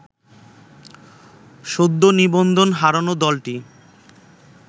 সদ্য নিবন্ধন হারানো দলটি